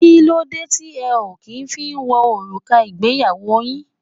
Kí ló dé tí ẹ o kí ń fí wo òrùka ìgbéyàwó yín?